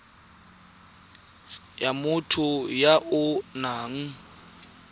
ya motho ya o nang